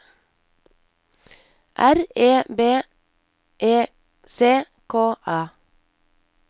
R E B E C K A